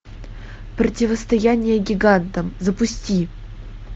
противостояние гигантам запусти